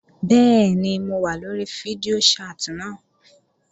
Bẹ́ẹ̀ni mo wà lóri fídíò chat náà